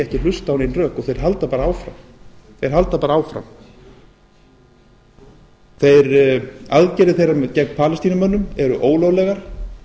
ekki hlusta á nein rök og þeir halda bara áfram aðgerðir þeirra gegn palestínumönnum eru ólöglegar